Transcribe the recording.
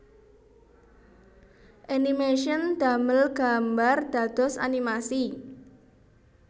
Animation damel gambar dados animasi